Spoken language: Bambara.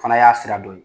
Fana y'a sira dɔ ye